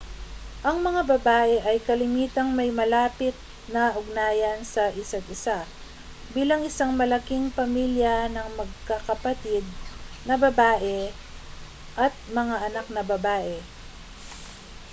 ang mga babae ay kalimitang may malapit na ugnayan sa isa't isa bilang isang malaking pamilya ng magkakapatid na babae at mga anak na babae